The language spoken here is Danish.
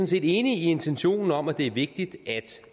set enige i intentionen om at det er vigtigt